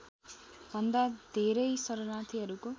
भन्दा धेरै शरणार्थीहरूको